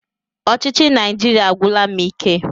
Ọchịchị Naijiria agwụla m ike.